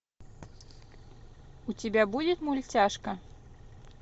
у тебя будет мультяшка